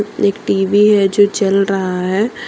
एक टी_वी है जो चल रहा है।